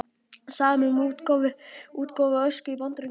Samið um útgáfu Ösku í Bandaríkjunum